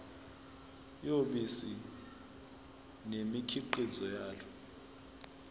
yobisi nemikhiqizo yalo